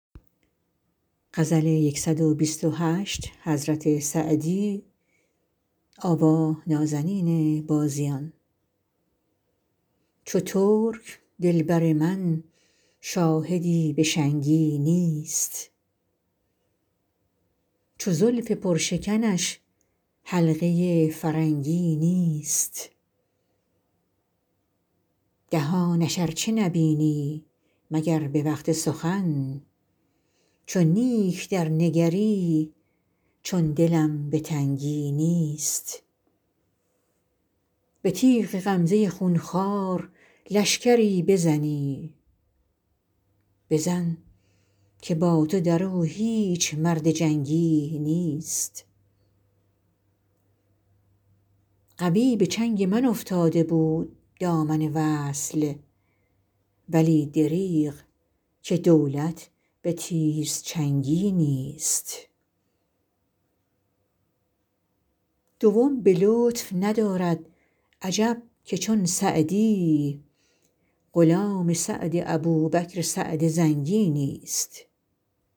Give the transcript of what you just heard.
چو ترک دل بر من شاهدی به شنگی نیست چو زلف پرشکنش حلقه فرنگی نیست دهانش ار چه نبینی مگر به وقت سخن چو نیک درنگری چون دلم به تنگی نیست به تیغ غمزه خون خوار لشکری بزنی بزن که با تو در او هیچ مرد جنگی نیست قوی به چنگ من افتاده بود دامن وصل ولی دریغ که دولت به تیزچنگی نیست دوم به لطف ندارد عجب که چون سعدی غلام سعد ابوبکر سعد زنگی نیست